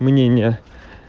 мнение